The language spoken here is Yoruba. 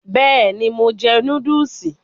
Bẹ́ẹ̀ni, mo jẹ núdúùsì.